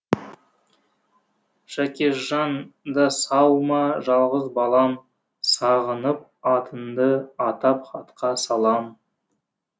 жакешжан да сау ма жалғыз балам сағынып атыңды атап хатқа салам